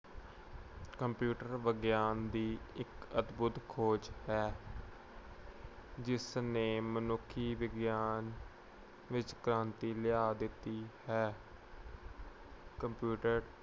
computer ਵਿਗਿਆਨ ਦੀ ਇੱਕ ਅਦਭੁੱਤ ਖੋਜ ਹੈ। ਜਿਸਨੇ ਮਨੁੱਖੀ ਵਿਗਿਆਨ ਵਿੱਚ ਕ੍ਰਾਂਤੀ ਲਿਆ ਦਿੱਤੀ ਹੈ। computer